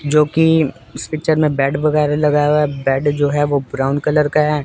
जो की इस पिक्चर में बेड वगैरा लगाया है। बेड जो है वह ब्राउन कलर का है।